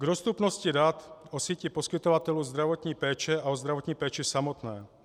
K dostupnosti dat o síti poskytovatelů zdravotní péče a o zdravotní péči samotné.